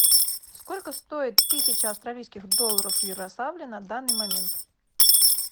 сколько стоит тысяча австралийских долларов в ярославле на данный момент